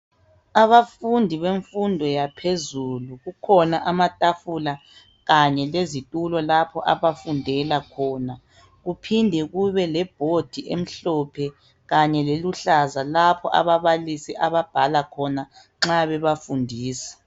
Abafundi bemfundo yaphezulu kukhona amatafula kanye lezitulo lapha abafundi abafundela khona kuphinde kube lebhodi emhlophe kanye leluhlaza lapho ababalisi ababhala khona nxa bebafundisa.